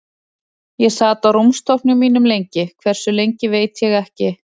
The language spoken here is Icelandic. Ég sat á rúmstokknum mínum lengi, hversu lengi veit ég ekki.